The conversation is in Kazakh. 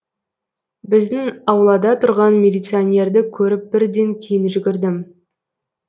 біздің аулада тұрған милиционерді көріп бірден кейін жүгірдім